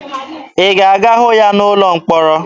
Ị ga-aga hụ ya n'ụlọ mkpọrọ?